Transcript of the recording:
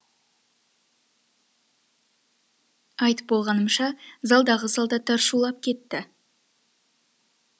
айтып болғанымша залдағы солдаттар шулап кетті